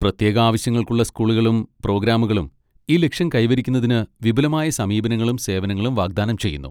പ്രത്യേക ആവശ്യങ്ങൾക്കുള്ള സ്കൂളുകളും പ്രോഗ്രാമുകളും ഈ ലക്ഷ്യം കൈവരിക്കുന്നതിന് വിപുലമായ സമീപനങ്ങളും സേവനങ്ങളും വാഗ്ദാനം ചെയ്യുന്നു.